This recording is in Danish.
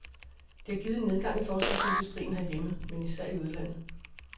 Det har givet en nedgang i forsvarsindustrien herhjemme, men især i udlandet.